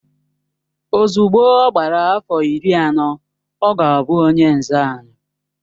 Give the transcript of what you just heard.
Ozugbo ọ gbara afọ iri anọ, ọ ga-abụ onye nze anyị